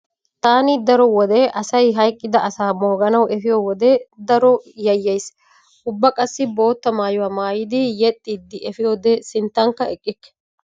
Taani daro wode asay hayqqida asaa mooganawu efiyo wode daro yayyays. Ubba qassi bootta maayuwa maaydi yeexxiiddi efiyode sinttankka eqqikke.